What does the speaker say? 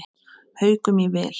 Haukum í vil.